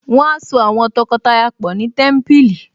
Wọ́n á so àwọn tọkọtaya pọ̀ ni Témípìlì